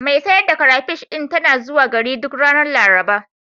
Mai sayar da karafish ɗin tana zuwa gari duk ranar Laraba.